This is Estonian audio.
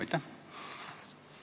Aitäh!